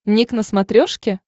ник на смотрешке